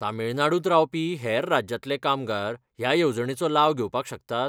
तमिळनाडुंत रावपी हेर राज्यांतले कामगार ह्या येवजणेचो लाव घेवपाक शकतात?